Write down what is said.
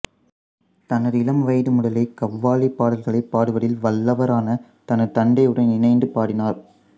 தனது இளம்வயது முதலே கவ்வாலி பாடல்களைப் பாடுவதில் வல்லவரான தனது தந்தையுடன் இணைந்து பாடினார்